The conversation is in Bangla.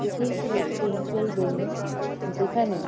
এটি একটি রেসিডেনসিয়াল বিল্ডিং যেখানে--